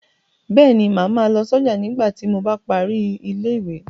Bẹ́ẹ̀ ni, màá ma lọ sọ́jà nígbà tí a bá parí ilé ìwé.